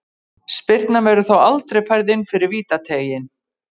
Spyrnan verður þó aldrei færð inn fyrir vítateiginn.